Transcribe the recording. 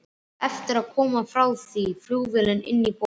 Þá var eftir að koma því frá flugvelli inní borg.